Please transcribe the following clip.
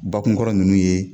Bakunkɔrɔ ninnu ye